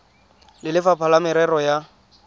le lefapha la merero ya